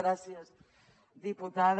gràcies diputada